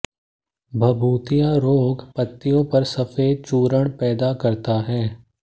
भभूतिया रोग पत्तियों पर सफेद चूर्ण पैदा करता है